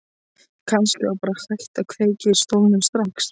Kannski var bara hægt að kveikja í stólnum strax.